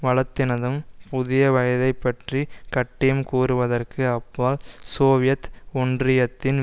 வளத்தினதும் புதிய வயதைப் பற்றி கட்டியம் கூறுவதற்கு அப்பால் சோவியத் ஒன்றியத்தின்